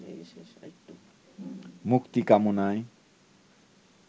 মুক্তিকামনায়